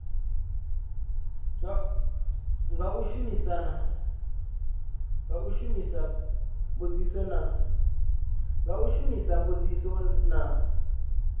nga u shumisa mbudziso na